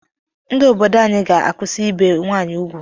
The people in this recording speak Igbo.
Ndi obodo anyị ga-akụsi ibe nwaanyị ugwu